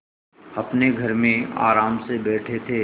अपने घर में आराम से बैठे थे